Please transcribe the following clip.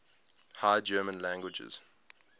high german languages